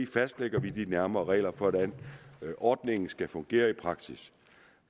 fastlægger vi de nærmere regler for hvordan ordningen skal fungere i praksis